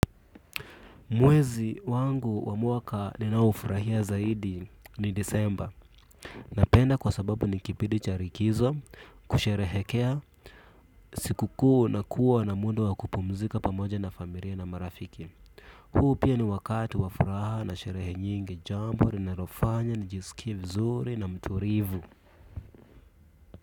Mwezi wangu wa mwaka ninaoufurahia zaidi ni Disemba. Napenda kwa sababu ni kipidi cha rikizo kusherehekea. Sikukuu na kuwa na muda wa kupumzika pamoja na familia na marafiki. Huu pia ni wakati wa furaha na sherehe nyingi, jambo linalofanya nijisikie vizuri na mtulivu.